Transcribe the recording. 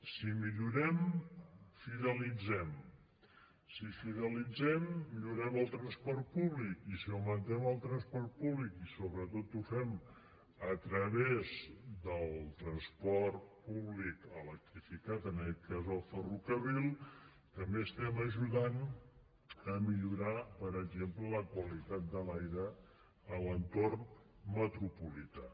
si millorem fidelitzem si fidelitzem millorem el transport públic i si augmentem el transport públic i sobretot ho fem a través del transport públic electrificat en aquest cas el ferrocarril també estem ajudant a millorar per exemple la qualitat de l’aire a l’entorn metropolità